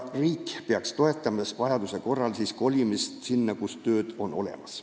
Riik peaks vajaduse korral toetama kolimist sinna, kus on töö olemas.